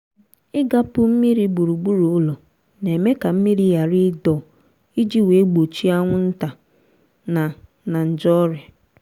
igapu mmiri gburugburu ụlọ na-eme ka mmiri ghara ịdọ iji wee gbochie anwụnta na na nje ọrịa